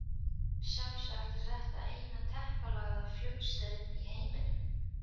Sjálfsagt er þetta eina teppalagða flugstöðin í heiminum.